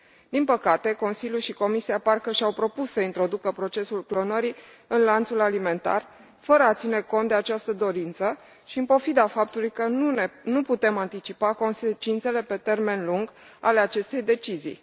Din păcate, Consiliul și Comisia parcă și au propus să introducă procesul clonării în lanțul alimentar fără a ține cont de această dorință și în pofida faptului că nu putem anticipa consecințele pe termen lung ale acestei decizii.